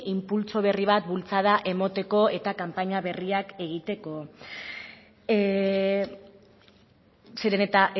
inpultso berri bat bultzada emateko eta kanpaina berriak egiteko zeren eta